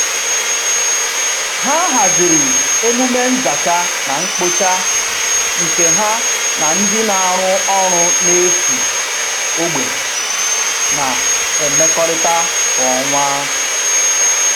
Ha haziri emume nzacha na mkpocha nke ha na ndị na-arụ ọrụ n'efu ogbe na-emekọrịta kwa ọnwa